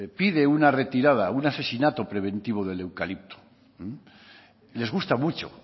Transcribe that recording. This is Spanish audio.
pide una retirada un asesinato preventivo del eucalipto les gusta mucho